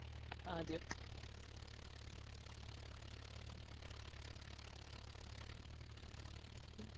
ആദ്യം